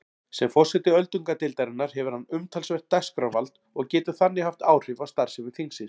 Sem forseti öldungadeildarinnar hefur hann umtalsvert dagskrárvald og getur þannig haft áhrif á starfsemi þingsins.